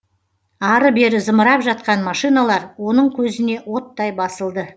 ары бері зымырап жатқан машиналар оның көзіне оттай басылды